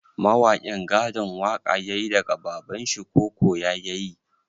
Mawakin gadon waƙa yayi daga babanshi ko koya yayi?